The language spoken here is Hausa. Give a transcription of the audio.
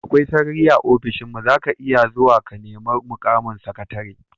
Akwai sarari a ofishinmu, za ka iya zuwa ku nemi mukamin sakatare.